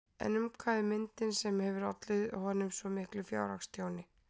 En um hvað er myndin sem hefur ollið honum svo miklu fjárhagstjóni?